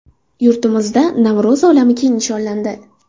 Yurtimizda Navro‘zi olam keng nishonlandi.